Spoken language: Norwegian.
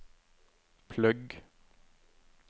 plugg